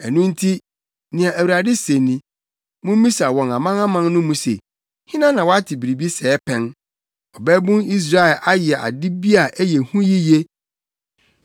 Ɛno nti nea Awurade se ni, “Mummisa wɔ amanaman no mu se, hena na wate biribi sɛɛ pɛn? Ɔbabun Israel ayɛ ade bi a ɛyɛ hu yiye.